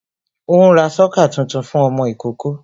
Ó ń ra sọ́kà tuntun fún ọmọ ìkókó